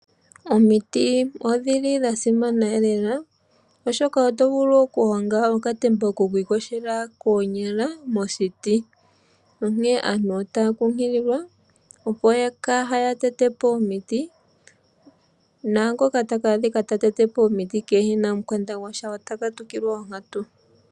Omiti odhili dha simana eelela, oshoka oto vulu okuhonga omatemba kokwiikoshela koonyala moshiti. Onkee aantu otaya kunkililwa opo kaa haya tete po omiti, naangoka taka adhika ta tete po omiti kehe na omukanda gwasha ota katukilwa onkatu.